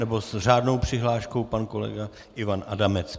Nebo s řádnou přihláškou pan kolega Ivan Adamec.